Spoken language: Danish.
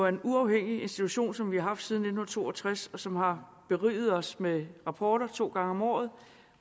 en uafhængig institution som vi har haft siden nitten to og tres og som har beriget os med rapporter to gange om året